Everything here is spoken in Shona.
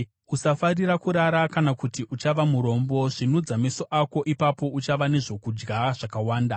Usafarira kurara kana kuti uchava murombo; svinudza meso ako ipapo uchava nezvokudya zvakawanda.